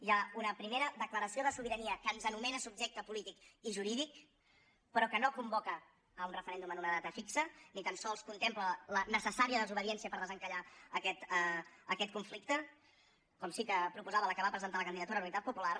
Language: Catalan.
hi ha una primera declaració de sobirania que ens anomena subjecte polític i jurídic però que no convoca un referèndum en una data fixa ni tan sols contempla la necessària desobediència per desencallar aquest conflicte com sí que proposava la que va presentar la candidatura d’unitat popular